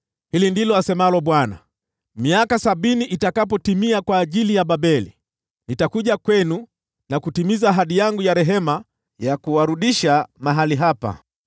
Hili ndilo asemalo Bwana : “Miaka sabini itakapotimia kwa ajili ya Babeli, nitakuja kwenu na kutimiza ahadi yangu ya rehema ya kuwarudisha mahali hapa.